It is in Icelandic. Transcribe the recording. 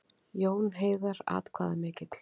Jón Heiðar atkvæðamikill